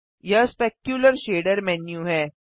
यह specular shader menu है